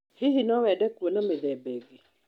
Hihi no wende kuona mithemba ingĩ?